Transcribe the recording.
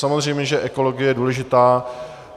Samozřejmě že ekologie je důležitá.